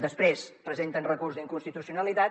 després presenten recurs d’inconstitucionalitat